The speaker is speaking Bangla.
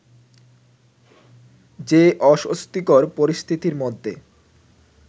যে অস্বস্তিকর পরিস্থিতির মধ্যে